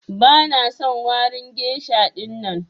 Bana son warin geisha ɗinnan.